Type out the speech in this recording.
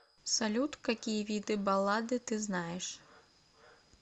салют какие виды баллады ты знаешь